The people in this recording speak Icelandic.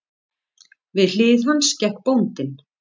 Við hlið hans gekk bóndinn.